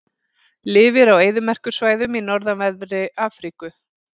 Lifir á eyðimerkursvæðum í norðanverðri Afríku.